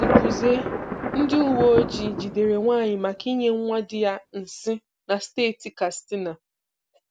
Gukwuzie: Ndị uwe ojii jidere nwaanyị maka inye nwa dị ya nsị na steeti Kastina.